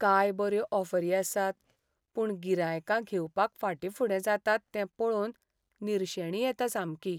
काय बऱ्यो ऑफरी आसात, पूण गिरायकां घेवपाक फाटीफुडें जातात तें पळोवन निर्शेणी येता सामकी.